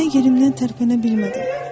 Mən yerimdən tərpənə bilmədim.